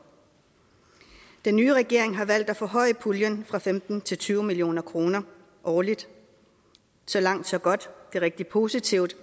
den nye regering har valgt at forhøje puljen fra femten til tyve million kroner årligt så langt så godt det er rigtig positivt